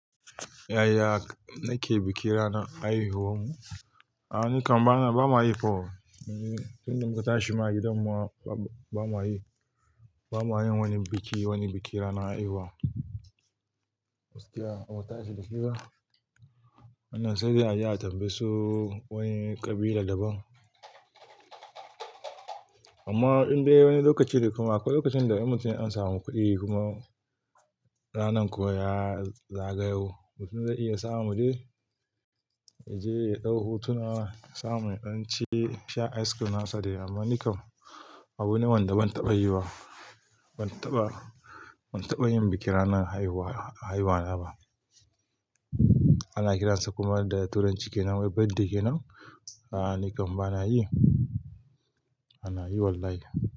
Yaya nake bikin ranar haihuwan mu? A'a ni kam bana, ba ma yi kam. Tun da muka tashi ma gidan mu ba mu haihu, ba mu hayan wani biki, wani bikin ranar haihuwa. Gaskiya, ba mu tashi da shi ba. Wannan sai dai a je a tambaye su wani ƙabila daban. Amma in dai wani lokaci ne kuma ko lokacin da mutum an samu kuɗi kuma ranan kuwa ya zagayu, mutum zai iya sa mu je, mu je mu yi ɗahu, tuna samun ɗan ci, sha ice cream nasa dai. Amma ni kam abu ne wanda ban taɓa yi ba. Ban taɓa, ban taɓa yin bikin ranar haihuwa, haihuwa na ba. Ana kiransa kuma da turanci kenan, "birthday" kenan. A'a, ni kam bana yi. Bana yi wallahi.